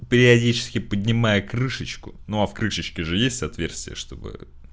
периодически поднимая крышечку но а в крышечки же есть отверстие чтобы